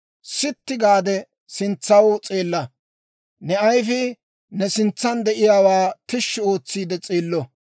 Sitti gaade sintsaw s'eella; ne ayifii ne sintsan de'iyaawaa tishshi ootsiide s'eello.